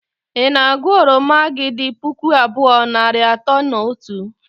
Ị na-agụ oromo gị dị puku abụọ, nari atọ na otu?.